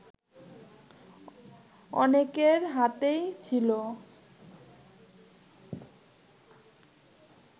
অনেকের হাতেই ছিল